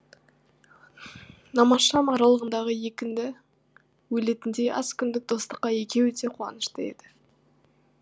намазшам аралығындағы екінді өлетіндей аз күндік достыққа екеуі де қуанышты еді